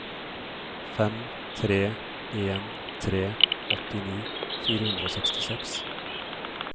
fem tre en tre åttini fire hundre og sekstiseks